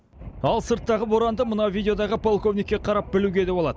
ал сырттағы боранды мына видеодағы полковникке қарап білуге де болады